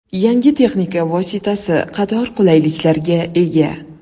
Yangi texnika vositasi qator qulayliklarga ega.